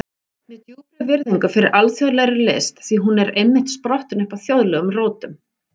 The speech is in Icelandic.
Með djúpri virðingu fyrir alþjóðlegri list, því hún er einmitt sprottin upp af þjóðlegum rótum.